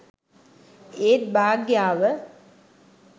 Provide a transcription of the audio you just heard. ඒත් භාග්‍යාව